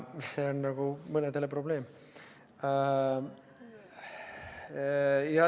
See on mõnedele nagu probleem.